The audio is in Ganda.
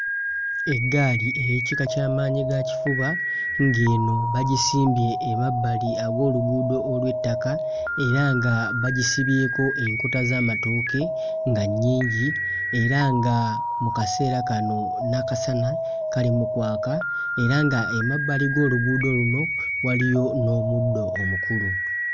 Eggaali ey'ekika kya maanyi ga kifuba ng'eno bagisimbye emabbali aw'oluguudo olw'ettaka era nga bagisibyeko enkota z'amatooke nga nnyingi era nga mu kaseera kano n'akasana kali mu kwaka era nga emabbali g'oluguudo luno waliyo n'omuddo omukulu.